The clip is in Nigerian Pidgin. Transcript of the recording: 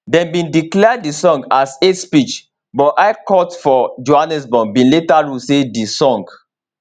dem bin declare di song as hate speech but high court for johannesburg bin later rule say di song